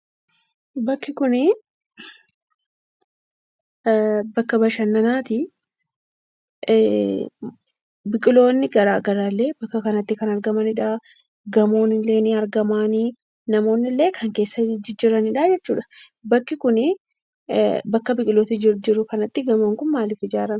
Bakki kunii bakka bashannanaati. Biqiloonni garaagaraallee bakka kanatti kan argamanidha. Gamoonillee ni argama. Namaoonnillee kan keessa jijjiranidha jechuudha. Bakki kunii bakka biqilootni jijjiru kanatti gamoon kun maalif ijaarame?